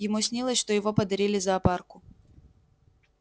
ему снилось что его подарили зоопарку